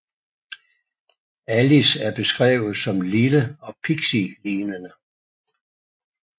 Alice er beskrevet som lille og pixielignende